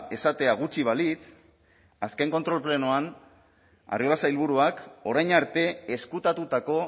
esatea gutxi balitz azken kontrol plenoan arriola sailburuak orain arte ezkutatutako